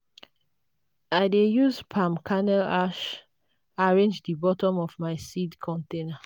i dey use palm kernel ash arrange the bottom of my seed container.